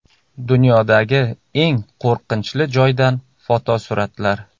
Dunyodagi eng qo‘rqinchli joydan fotosuratlar.